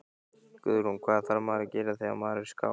Guðrún: Hvað þarf maður að gera þegar maður er skáti?